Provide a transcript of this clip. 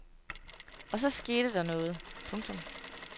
Og så skete der noget. punktum